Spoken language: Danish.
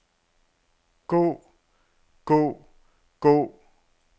gå gå gå